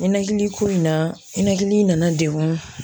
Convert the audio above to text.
Ninakiliko in na ninakili nana degun.